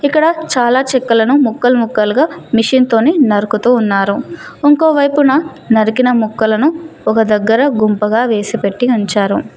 ఇక్కడ చాలా చెక్కలను ముక్కలు ముక్కలుగా మిషిన్ తోని నరుకుతూ ఉన్నారు ఇంకో వైపునా నరికిన ముక్కలను ఒక దగ్గరా గుంపగా వేసి పెట్టి ఉంచారు.